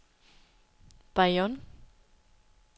Bayonne